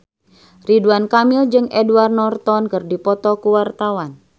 Ridwan Kamil jeung Edward Norton keur dipoto ku wartawan